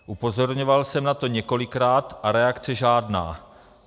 Upozorňoval jsem na to několikrát, a reakce žádná.